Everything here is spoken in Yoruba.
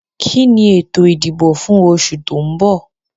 Kí ni ètò ìdìbò fún oṣù tó mbọ̀?